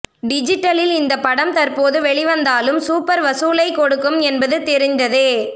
டிஜிட்டலில் இந்த படம் தற்போது வெளிவந்தாலும் சூப்பர் வசூலை கொடுக்கும் என்பது தெரிந்ததே